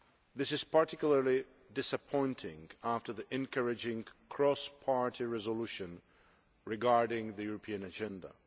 This is particularly disappointing after the encouraging cross party resolution regarding the European agenda.